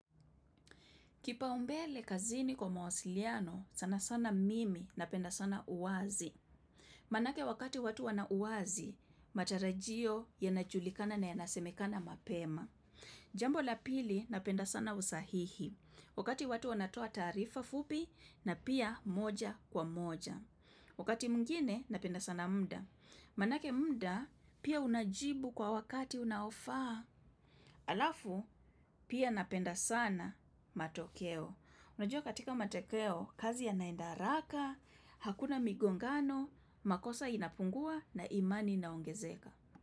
Kipaumbele kazini kwa mawasiliano, sana sana mimi napenda sana uwazi. Manake wakati watu wana uwazi, matarajio yanajulikana na yanasemekana mapema. Jambo la pili napenda sana usahihi. Wakati watu wanatoa taarifa fupi na pia moja kwa moja. Wakati mwingine napenda sana mda. Manake mda pia unajibu kwa wakati unaofaa. Alafu, pia napenda sana matokeo. Unajua katika matokeo, kazi yanaenda haraka, hakuna migongano, makosa inapungua na imani inaongezeka.